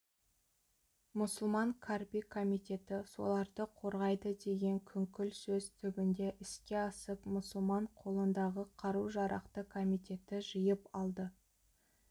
мұсылман қарби комитеті соларды қорғайды деген күңкіл сөз түбінде іске асып мұсылман қолындағы қару-жарақты комитеті жиып алды